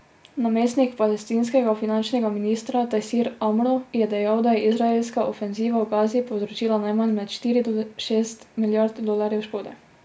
Namestnik palestinskega finančnega ministra Tajsir Amro je dejal, da je izraelska ofenziva v Gazi povzročila najmanj med štiri do šest milijard dolarjev škode.